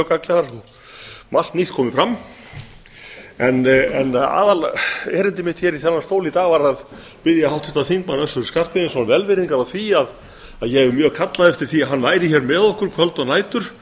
gagnlegar og margt nýtt komið fram aðalerindi mitt í þennan stól í dag var þó að biðja háttvirtan þingmann össur skarphéðinsson velvirðingar á því að ég hef mjög kallað eftir því að hann væri hér með okkur kvöld og nætur